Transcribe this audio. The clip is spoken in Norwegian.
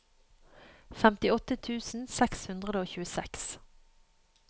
femtiåtte tusen seks hundre og tjueseks